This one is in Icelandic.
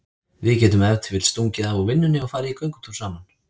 Við getum ef til vill stungið af úr vinnunni og farið í göngutúr saman.